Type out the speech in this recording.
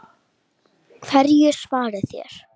Hverju svarið þér?